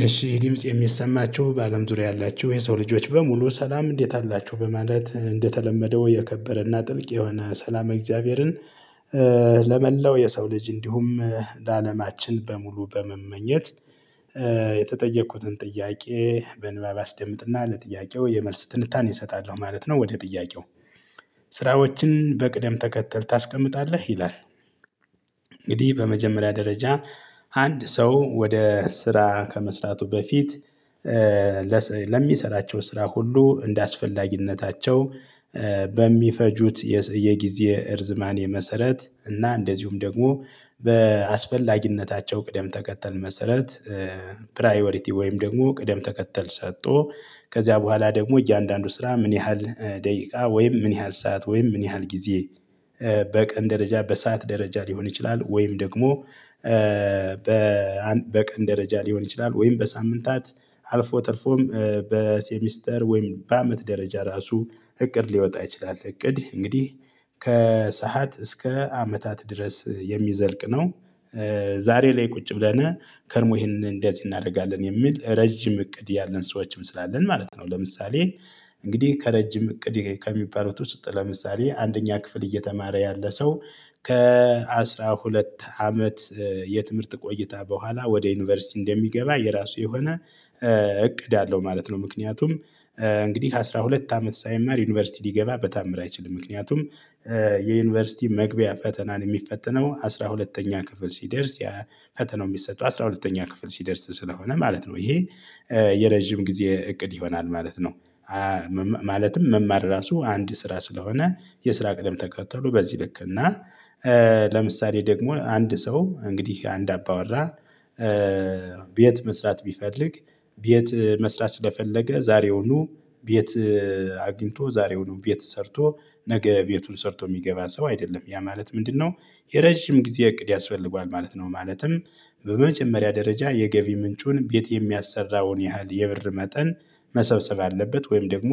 እሺ ይህ ድምጽ የሚሰማችሁ በአለም ዙሪያ ያላችሁ የሰው ልጆች በሙሉ ሰላም እንዴት አላችሁ በማለት እንደተለመደው የከበረና ጥልቅ የሆነ ሰላም እግዚአብሔርን ለመላው የሰው ልጅ እንዲሁም ለአለማችን በሙሉ በመመኘት የተጠየቁትን ጥያቄ በንባብ አስደምጥና ለጥያቄው የመልስ ትንታኔ እሰጣለሁ ማለት ነው። ወደ ጥያቄው ስራዎችን በቅደም ተከተል ታስቀምጣለህ? ይላል። እንግዲህ በመጀመሪያ ደረጃ አንድ ሰው ወደ ስራ ከመስራቱ በፊት ለሚሰራቸው ስራ ሁሉ እንደአስፈላጊነታቸው በሚፈጁት የጊዜ እርዝማኔ መሰረት እና እንደዚሁም ደግሞ በአስፈላጊነታቸው ቅደም ተከተል መሰረት። ፕራዮሪቲ ወይም ደግሞ ቅደም ተከተል ሰጥቶ ከዚያ በኋላ ደግሞ እያንዳንዱ ስራ ምን ያህል ደቂቃ ወይም ምን ያህል ሰዓት ወይም ምን ያህል ጊዜ በቀን ደረጃ በሰአት ደረጃ ሊሆን ይችላል። ወይም ደግሞ በቀን ደረጃ ሊሆን ይችላል ወይም በሳምንታት አልፎ ተርፎም በሴሚስተር ወይም በአመት ደረጃ ራሱ እቅድ ሊወጣ ይችላል። እቅድ እንግዲህ ከሰአት እስከ አመታት ድረስ የሚዘልቅ ነው። ዛሬ ላይ ቁጭ ብለን ከርሞ ይሄንን እንደዚህ እናደርጋለን የሚል ረጅም እቅድ ያለን ሰዎችም ስላለን ማለት ነው። ለምሳሌ እንግዲህ ከረጅም እቅድ ከሚባሉት ውስጥ ለምሳሌ አንደኛ ክፍል እየተማረ ያለ ሰው ከአሥራ ሁለት አመት የትምህርት ቆይታ በኋላ ወደ ዩኒቨርሲቲ እንደሚገባ የራሱ የሆነ እቅድ አለው ማለት ነው። ምክንያቱም እንግዲህ ከአሥራ ሁለት አመት ሳይማር ዩኒቨርሲቲ ሊገባ በተአምር አይችልም። ምክንያቱም የዩኒቨርሲቲ መግቢያ ፈተናን የሚፈተነው አስራ ሁለተኛ ክፍል ሲደርስ ፈተናው የሚሰጡ አስራ ሁለተኛ ክፍል ሲደርስ ስለሆነ ማለት ነው። ይሄ የረጅም ጊዜ እቅድ ይሆናል ማለት ነው። ማለትም መማር ራሱ አንድ ስራ ስለሆነ የስራ ቅደም ተከተሉ በዚህ ልክ እና። ለምሳሌ ደግሞ አንድ ሰው እንግዲህ አንድ አባወራ ቤት መስራት ቢፈልግ ቤት መስራት ስለፈለገ ዛሬውኑ ቤት አግኝቶ ዛሬውኑ ቤት ሰርቶ ነገ ቤቱን ሰርቶ የሚገባ ሰው አይደለም። ያ ማለት ምንድነው? የረጅም ጊዜ እቅድ ያስፈልገዋል ማለት ነው። ማለትም በመጀመሪያ ደረጃ የገቢ ምንጩን ቤት የሚያሰራውን ያህል የብር መጠን መሰብሰብ አለበት። ወይም ደግሞ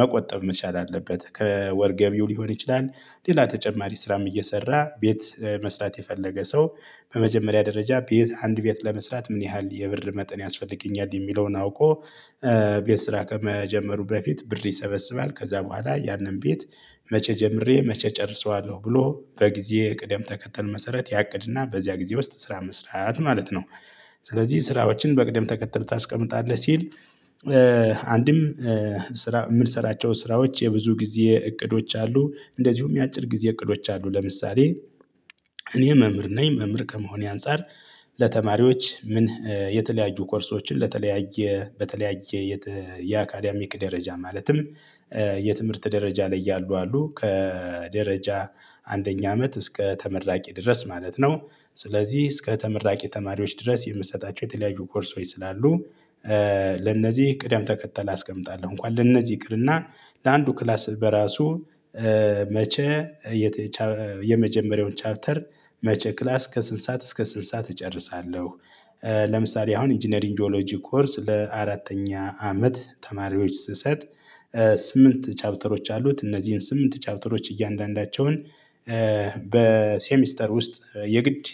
መቆጠብ መቻል አለበት። ከወር ገቢው ሊሆን ይችላል። ሌላ ተጨማሪ ስራም እየሰራ ቤት መስራት የፈለገ ሰው በመጀመሪያ ደረጃ ቤት አንድ ቤት ለመስራት ምን ያህል የብር መጠን ያስፈልገኛል የሚለውን አውቆ። ቤት ስራ ከመጀመሩ በፊት ብር ይሰበስባል ከዛ በኋላ ያንን ቤት መቼ ጀምሬ መቼ እጨርሰዋለሁ ብሎ በጊዜ ቅደም ተከተል መሰረት ያቅድና በዚያ ጊዜ ውስጥ ስራ መስራት ማለት ነው። ስለዚህ ስራዎችን በቅደም ተከተል ታስቀምጣለህ ሲል። አንድም ስራ የምንሰራቸው ስራዎች የብዙ ጊዜ እቅዶች አሉ። እንደዚሁም የአጭር ጊዜ እቅዶች አሉ። ለምሳሌ እኔ መምህር ነኝ መምህር ከመሆኔ አንፃር ለተማሪዎች ምን የተለያዩ ኮርሶችን ለተለያየ በተለያየ የካዳሚክ ደረጃ ማለትም የትምህርት ደረጃ ላይ ያሉ አሉ ከደረጃ አንደኛ አመት እስከ ተመራቂ ድረስ ማለት ነው። ስለዚህ እስከ ተመራቂ ተማሪዎች ድረስ የምሰጣቸው የተለያዩ ኮርሶች ስላሉ ለነዚህ ቅደም ተከተል አስቀምጣለሁ። እንኳን ለነዚህ ይቅርና ለአንዱ ክላስ በራሱ መቼ የመጀመሪያውን ቻፕተር መቼ ክላስ ከስንት ሰዓት እስከ ስንት ሰዓት እጨርሳለሁ? ለምሳሌ አሁን ኢንጂነሪንግ ጂኦሎጂ ኮርስ ለአራተኛ አመት ተማሪዎች ስሰጥ ስምንት ቻፕተሮች አሉት። እነዚህን ስምንት ቻርተሮች እያንዳንዳቸውን በሴሚስተር ውስጥ የግድ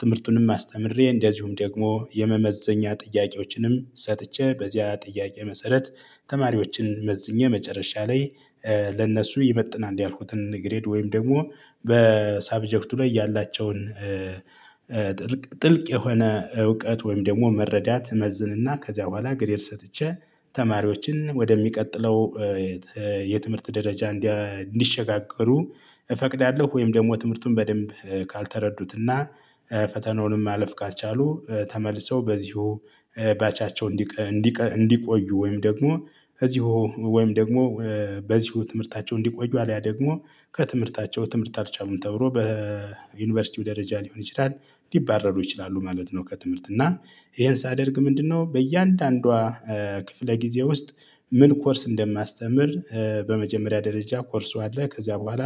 ትምህርቱንም አስተምሬ እንደዚሁም ደግሞ የመመዘኛ ጥያቄዎችንም ሰጥቼ በዚያ ጥያቄ መሰረት። ተማሪዎችን መዝኜ መጨረሻ ላይ ለእነሱ ይመጥናል ያልኩትን ግሬድ ወይም ደግሞ በሳብጀክቱ ላይ ያላቸውን ጥልቅ የሆነ እውቀት ወይም ደግሞ መረዳት እመዝንና ከዚያ በኋላ ግሬድ ሰጥቼ። ተማሪዎችን ወደሚቀጥለው የትምህርት ደረጃ እንዲሸጋገሩ እፈቅዳለሁ። ወይም ደግሞ ትምህርቱን በደንብ ካልተረዱትና ፈተናውንም ማለፍ ካልቻሉ ተመልሰው በዚሁ ባቻቸው እንዲቆዩ ወይም ደግሞ በዚሁ ወይም ደግሞ በዚሁ ትምህርታቸው እንዲቆዩ አለያ ደግሞ ከትምህርታቸው ትምህርት አልቻሉም ተብሎ በዩኒቨርሲቲው ደረጃ ሊሆን ይችላል ሊባረሩ ይችላሉ ማለት ነው። ከትምህርት እና ይሄን ሳደርግ ምንድነው? በእያንዳንዷ ክፍለ ጊዜ ውስጥ ምን ኮርስ እንደማስተምር በመጀመሪያ ደረጃ ኮርሱ አለ ከዚያ በኋላ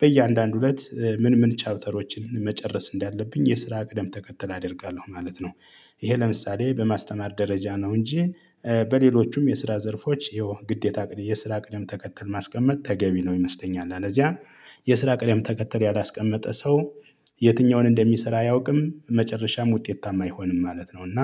በእያንዳንዱ እለት ምን ምን ቻፕተሮችን መጨረስ እንዳለብኝ የስራ ቅደም ተከተል አደርጋለሁ ማለት ነው። ይሄ ለምሳሌ በማስተማር ደረጃ ነው። እንጂ በሌሎቹም የስራ ዘርፎች ይሄው ግዴታ የስራ ቅደም ተከተል ማስቀመጥ ተገቢ ነው ይመስለኛል። አለበዚያ የስራ ቅደም ተከተል ያላስቀመጠ ሰው የትኛውን እንደሚሰራ አያውቅም መጨረሻም ውጤታማ አይሆንም ማለት ነው። እና